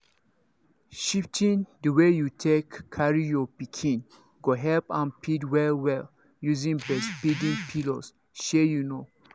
shifting the way you take carry your pikin go help am feed well well using breastfeeding pillows shey you know